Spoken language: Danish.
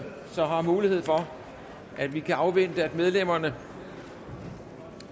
mulighed for at vi kan afvente at medlemmerne